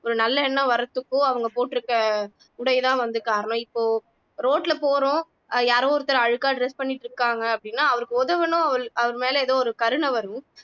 ஒரு நல்ல எண்ணம் வர்றதுக்கோ அவங்க போட்டுருக்க உடைதான் வந்து காரணம் இப்போ road ல போறோம் அஹ் யாரோ ஒருத்தர் அழுக்கா dress பண்ணிட்டு இருக்காங்க அப்படின்னா அவருக்கு உதவனும் அவ அவர் மேல ஏதோ ஒரு கருணை வரும்